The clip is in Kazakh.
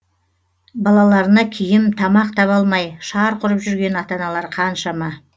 балаларына киім тамақ таба алмай шарқ ұрып жүрген ата аналар қаншама